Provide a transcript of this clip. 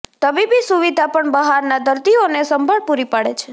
તબીબી સુવિધા પણ બહારના દર્દીઓને સંભાળ પૂરી પાડે છે